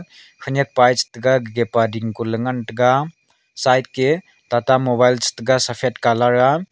khanyiak pa e chita gage pa dinhkon leyngan taga side ke tata mobile saphat colour a.